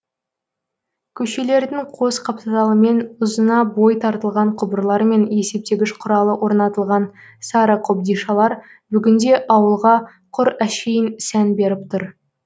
көшелердің қос қапталымен ұзына бой тартылған құбырлар мен есептегіш құралы орнатылған сары қобдишалар бүгінде ауылға құр әшейін сән беріп тұр